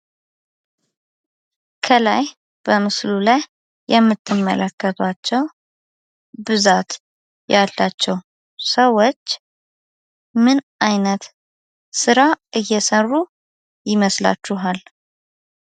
ከላይ በምስሉ ላይ የምትመለከቶቸው ብዛት ያላቸው ሰዎች ምን አይነት ስራ እየሰሩ ይመስላችኋል?